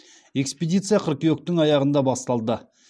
экспедиция қыркүйектің аяғында басталды